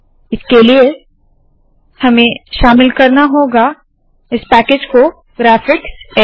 इसके लिए हमें शामिल करना होगा इस पैकेज को ग्राफिक्स